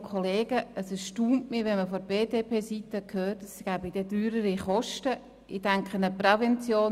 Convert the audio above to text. Es erstaunt mich, von BDP-Seite zu hören, es würde dann höhere Kosten geben.